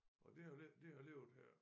Og det har jo le det har levet her